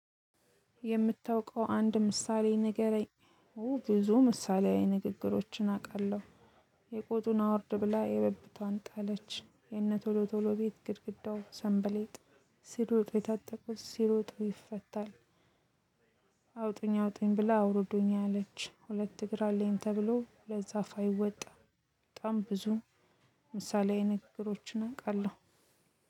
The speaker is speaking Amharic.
የምታውቀው አንድ ምሳሌ ንገረኝ ብዙ ምሳሌያዊ ንግግሮችን አውቃለሁ። የቆጡን አውርድ ብላ የብብቷን ጣለች የነ ቶሎ ቶሎ ቤት ግርግዳው ሰንበሌጥ ሲሮጥ የታጠቁት ሲሮጡ ይፈታል። አውጡኝ አውጡኝ ብላ አውርዱኝ አለች ሁልት እግር አለኝ ተብሎ ሁልት ዛፍ አይወጣም። በጣም ብዙ ምሳሌያዊ ንግግሮችን አውቃለሁ።